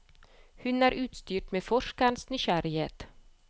Hun er utstyrt med forskerens nysgjerrighet.